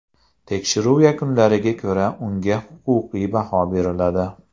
Tekshiruv yakunlariga ko‘ra, unga huquqiy baho beriladi.